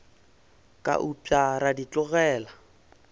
ka upša ra di tlogela